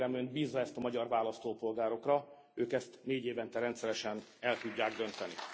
Kérem Önt, bízza ezt a magyar választópolgárokra, ők ezt négyévente rendszeresen el tudják dönteni.